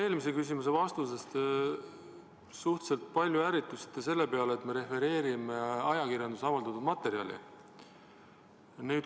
Eelmisele küsimusele vastates te suhteliselt kõvasti ärritusite selle peale, et me refereerime ajakirjanduses avaldatud materjali.